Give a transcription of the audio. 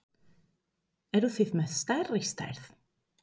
Eruð þið með stærri stærð?